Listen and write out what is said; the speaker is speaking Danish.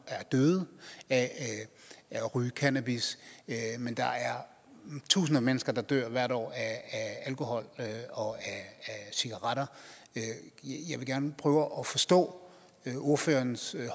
er døde af at ryge cannabis men der er tusinder af mennesker der dør hvert år af alkohol og af cigaretter jeg vil gerne prøve at forstå ordførerens